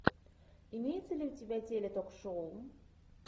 имеется ли у тебя теле ток шоу